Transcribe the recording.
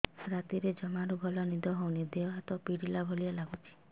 ରାତିରେ ଜମାରୁ ଭଲ ନିଦ ହଉନି ଦେହ ହାତ ଛିଡି ପଡିଲା ଭଳିଆ ଲାଗୁଚି